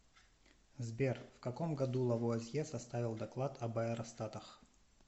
сбер в каком году лавуазье составил доклад об аэростатах